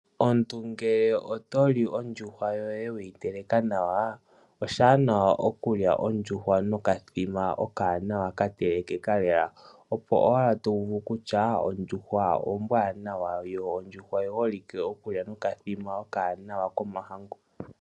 Omuntu ngele oto li ondjuhwa yoye weyi teleka nawa, oshiwanawa okulya ondjuhwa nokathima okawanawa katelekeka lela, opo wala to uvu kutya ondjuhwa ombwaanawa yo ondjuhwa oyiholike okuliwa nokathima okawanawa komahangu.